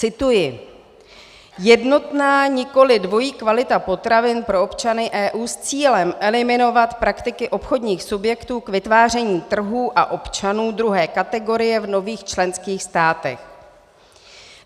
Cituji: "Jednotná, nikoliv dvojí kvalita potravin pro občany EU s cílem eliminovat praktiky obchodních subjektů k vytváření trhů a občanů druhé kategorie v nových členských státech."